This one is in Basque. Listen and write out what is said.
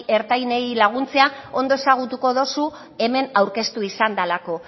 ertainei laguntzea ondo ezagutuko duzu hemen aurkeztu izan delako